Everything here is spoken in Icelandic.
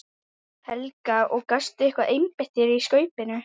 Helga: Og gastu eitthvað einbeitt þér að Skaupinu?